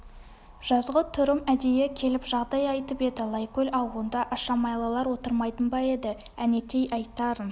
жазғытұрым әдейі келіп жағдай айтып еді лайкөл ау онда ашамайлылар отырмайтын ба еді әнетей айтарын